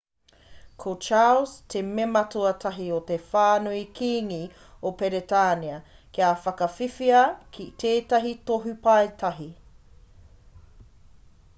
ko charles te mema tuatahi o te whānau kīngi o peretānia kia whakawhiwhia ki tētahi tohu paetahi